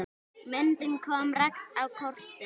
Myndin kom Rex á kortið.